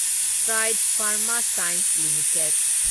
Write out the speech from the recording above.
Strides Pharma Science limited